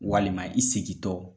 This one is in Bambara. Walima i segintɔ.